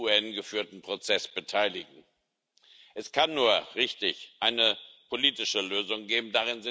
UN geführten Prozess beteiligen. Es kann nur richtig eine politische Lösung geben